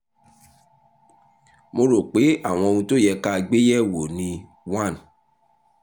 mo rò pé àwọn ohun tó yẹ ká gbé yẹ̀wò ni one